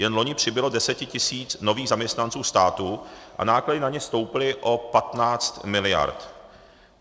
Jen loni přibylo 10 tisíc nových zaměstnanců státu a náklady na ně stouply o 15 miliard.